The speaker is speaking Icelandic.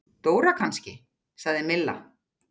Dóra kannski? sagði Milla.